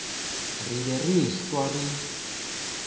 re be re ehlwa re